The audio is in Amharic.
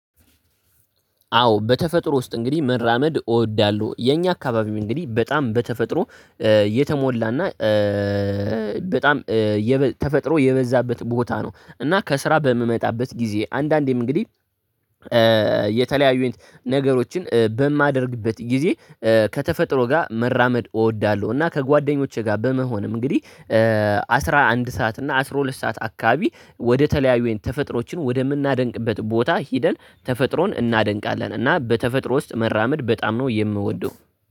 አዎ በተፈጥሮ ውስጥ እንግዲህ መራመድ እወዳለሁ። የኛ አካባቢው እንግዲህ በጣም በተፈጥሮ የተሞላና በጣም ተፈጥሮ የበዛበት ቦታ ነው። እና ከስራ በምመጣበት ጊዜ አንዳንዴም እንግዲህ የተለያዩን ነገሮችን በማደርግበት ጊዜ ከተፈጥሮ ጋር መራመድ እወዳለሁ። እና ከጓደኞቼ ጋር በመሆንም እንግዲህ አስራ አንድ ሰዓት እና አስራ ሁለት ሰዓት አካባቢ ወደ ተለያዩ አይነት ተፈጥሮዎችን ወደምናደንቅበት ቦታ ሂደን ተፈጥሮን እናደንቃለን። እና በተፈጥሮ ውስጥ መራመድ በጣም ነው የምወደው